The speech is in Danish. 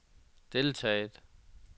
deltaget